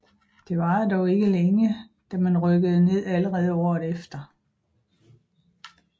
Det varede dog ikke længe da man rykkede ned allerede året efter